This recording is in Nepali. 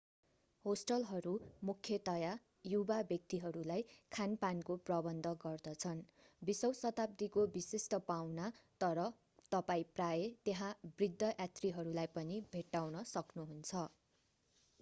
होस्टलहरू मुख्यतया युवा व्यक्तिहरूलाई खान-पानको प्रबन्ध गर्दछन् विशौं शताब्दीको विशिष्ट पाहुना तर तपाईं प्रायः त्यहाँ बृद्ध यात्रीहरूलाई पनि भेट्टाउन सक्नुहुन्छ